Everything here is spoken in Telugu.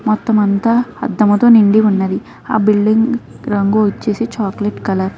మొత్తం అంత నిండి ఉంది. ఆ బిల్డింగ్ రంగు వచ్చేసి చాక్లెట్ కలర్ .